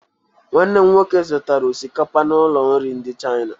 Nwanne m nwoke zụtara osikapa n'ụlọ nri ndị Chaina